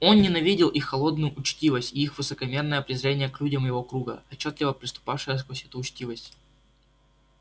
он ненавидел их холодную учтивость и их высокомерное презрение к людям его круга отчётливо проступавшее сквозь эту учтивость